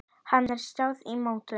Hér er staðan í mótinu.